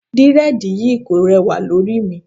Dírẹ́dìì yí kò rẹwà lórí mi.